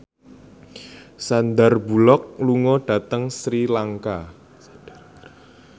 Sandar Bullock lunga dhateng Sri Lanka